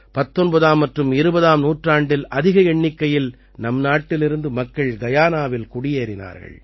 19ஆம் மற்றும் 20ஆம் நூற்றாண்டில் அதிக எண்ணிக்கையில் நம் நாட்டிலிருந்து மக்கள் கயானாவில் குடியேறினார்கள்